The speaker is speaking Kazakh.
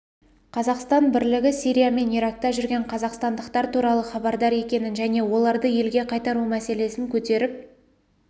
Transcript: қазақстан билігі сирия мен иракта жүрген қазақстандықтар туралы хабардар екенін және оларды елге қайтару мәселесін көтеріп